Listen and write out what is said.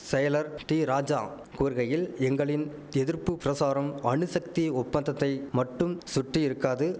செயலர் டீ ராஜா கூறுகையில் எங்களின் எதிர்ப்பு பிரசாரம் அணுசக்தி ஒப்பந்தத்தை மட்டும் சுட்டி இருக்காது